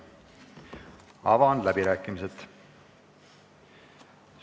Avan läbirääkimised.